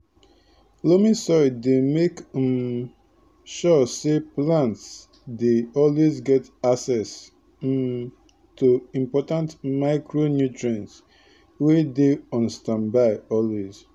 loamy soil dey make um sure say plants dey always get access um to important micronutrients wey dey on standby always